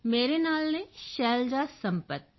ਮੇਰੇ ਨਾਲ ਹਨ ਸ਼ੈਲਜਾ ਸੰਪਤ